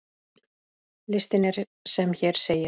Listinn er sem hér segir